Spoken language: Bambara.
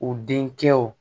U denkɛw